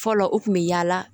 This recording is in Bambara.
Fɔlɔ u kun bɛ yaala